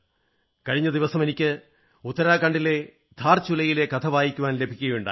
കഴിഞ്ഞ ദിവസം എനിക്ക് ഉത്തരാഖണ്ഡിലെ ധാർചുലയിലെ കഥ വായിക്കാൻ ലഭിക്കയുണ്ടായി